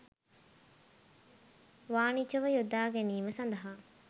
වානිජව යොදාගැනීම සඳහා